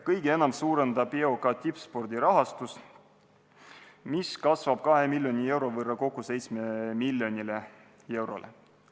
Kõige enam suurendab EOK tippspordi rahastust, mis kasvab 2 miljoni euro võrra, kokku 7 miljoni euroni.